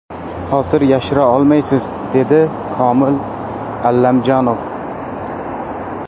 Hozir yashira olmaysiz”, dedi Komil Allamjonov.